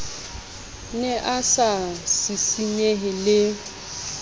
ne a sa sisinyehe le